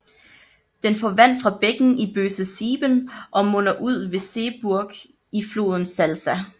Den får vand fra bækken Böse Sieben og munder ved Seeburg ud i floden Salza